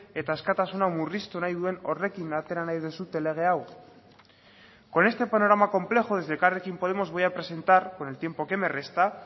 eta askatasuna murriztu nahi duen horrekin atera nahi duzue lege hau con este panorama complejo desde elkarrekin podemos voy a presentar con el tiempo que me resta